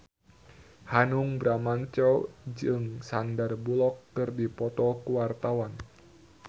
Hanung Bramantyo jeung Sandar Bullock keur dipoto ku wartawan